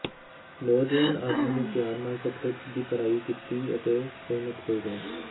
ਨੌਜਵਾਨ ਆਦਮੀ ਨੂੰ ਧਿਆਨ ਨਾਲ ਸਕਰਿਪਟ ਦੀ ਪੜ੍ਹਾਈ ਕੀਤੀ ਅਤੇ ਸਹਿਮਤ ਹੋ ਗਏ